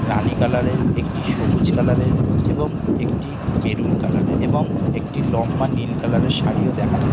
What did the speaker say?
রানী কালারের একটি সবুজ কালারের এবং একটি মেরুন কালারের এবং একটি লম্বা নীল কালারের শাড়িও দেখা যা--